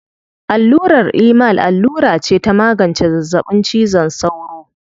Allurar Emal allura ce ta magance zazzaɓin cizon sauro.